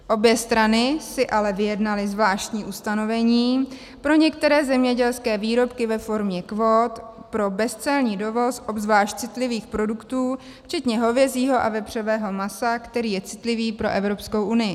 Obě strany si ale vyjednaly zvláštní ustanovení pro některé zemědělské výrobky ve formě kvót pro bezcelní dovoz obzvlášť citlivých produktů, včetně hovězího a vepřového masa, který je citlivý pro Evropskou unii.